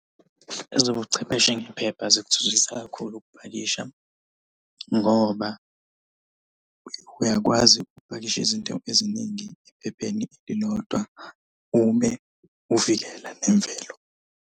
Ezobuchwepheshe ngephepha zikuthuthukisa kakhulu ukupakisha ngoba uyakwazi ukupakisha izinto eziningi ephepheni lilodwa ube uvikela nemvelo.